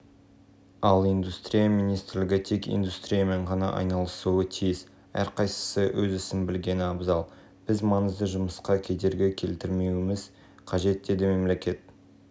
ал бізде мұндай жоқ осымен нақты кім айналысатынын анықтауымыз қажет мүмкін сыртқы істер министрлігі австралия